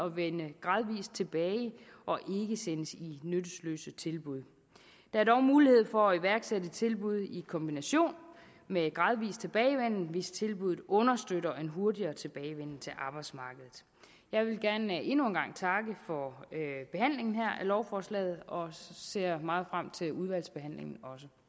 at vende gradvis tilbage og ikke sendes i nyttesløse tilbud der er dog mulighed for at iværksætte tilbud i kombination med en gradvis tilbagevenden hvis tilbuddet understøtter en hurtigere tilbagevenden til arbejdsmarkedet jeg vil gerne endnu en gang takke for behandlingen af lovforslaget og ser også meget frem til udvalgsbehandlingen